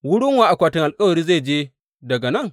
Wurin wa akwatin alkawari zai je daga nan?